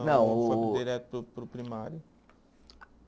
Não o o. Foi direto para o, para o primário?